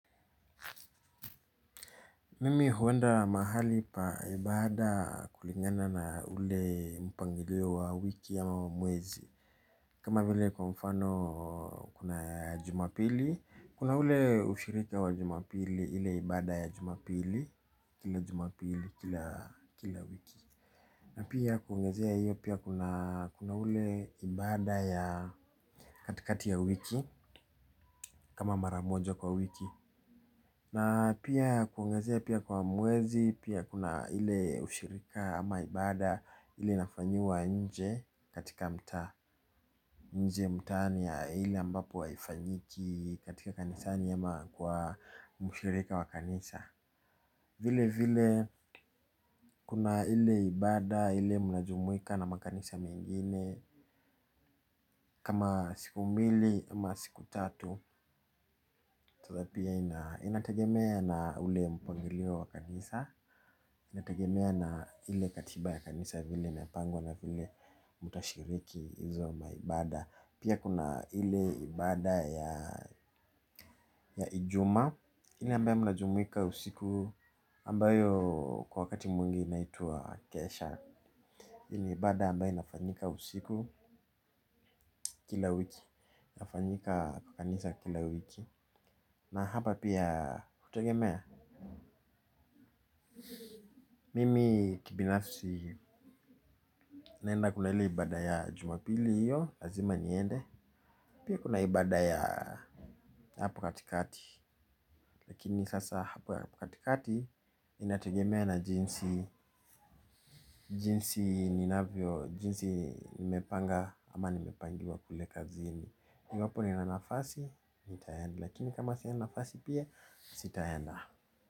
Mimi huenda mahali pa ibada kulingana na ule mpangilio wa wiki ama wa mwezi kama vile kwa mfano kuna jumapili kuna ule ushirika wa jumapili ile ibada ya jumapili kila jumapili kila wiki na pia kuongezea hiyo pia kuna ule ibada ya katikati ya wiki kama mara moja kwa wiki na pia kuongezea pia kwa mwezi pia kuna ile ushirika ama ibada ile inafanyiwa nje katika mtaa nje mtaani ya ile ambapo haifanyiki katika kanisani ama kwa mshirika wa kanisa vile vile kuna ile ibada ile mnajumuika na makanisa mengine kama siku mbili ama siku tatu sasa pia inategemea na ule mpangilio wa kanisa inatagemea na ile katiba ya kanisa vile imepangwa na vile mtashiriki hizo maibada pia kuna ile ibada ya ijumaa ile ambayo mnajumuika usiku ambayo kwa wakati mwingi inaitwa kesha hii ni ibada ambayo inafanyika usiku kila wiki inafanyika kwa kanisa kila wiki na hapa pia hutegemea mimi kibinafsi naenda kuna ile ibada ya jumapili hiyo lazima niende pia kuna ibada ya hapo katikati lakini sasa hapo ya hapo katikati inategemea na jinsi jinsi ninavyo jinsi nimepanga ama nimepangiwa kule kazini iwapo nina nafasi nitaenda lakini kama sina nafasi pia sitaenda.